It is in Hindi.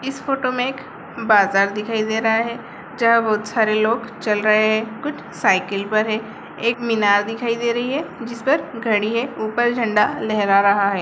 इस फोटो मे एक बाजार दिखाई पर रहा है जब सारे लोग चल रहे है कुछ साइकिल पर है एक मीनार दिखाई दे रही है जिसपर घड़ी है ऊपर झण्डा लहरा रहा है।